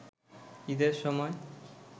ঈদের সময়